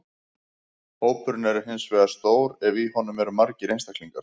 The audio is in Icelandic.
Hópurinn er hins vegar stór ef í honum eru margir einstaklingar.